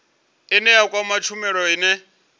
ine ya kwama tshumelo ine